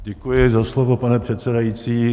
Děkuji za slovo, pane předsedající.